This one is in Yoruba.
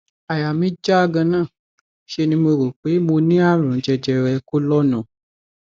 àyà mí já ganan ṣe ni mo rò pé mo ní àrùn jẹjẹrẹ kólọọnù